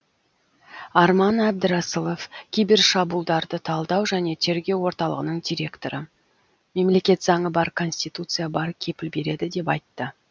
арман әбдірасылов кибер шабуылдарды талдау және тергеу орталығының директоры мемлекет заңы бар конституция бар кепіл береді деп айтты